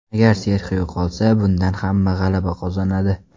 Agar Serxio qolsa, bundan hamma g‘alaba qozonadi.